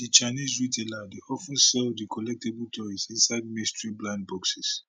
di chinese retailer dey of ten sell di collectable toys inside mystery blind boxes